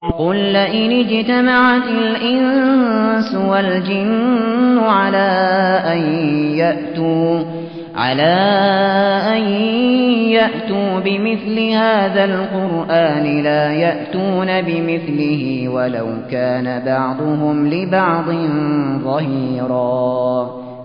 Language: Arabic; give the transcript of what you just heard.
قُل لَّئِنِ اجْتَمَعَتِ الْإِنسُ وَالْجِنُّ عَلَىٰ أَن يَأْتُوا بِمِثْلِ هَٰذَا الْقُرْآنِ لَا يَأْتُونَ بِمِثْلِهِ وَلَوْ كَانَ بَعْضُهُمْ لِبَعْضٍ ظَهِيرًا